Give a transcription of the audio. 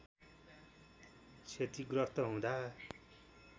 क्षतिग्रस्त हुँदा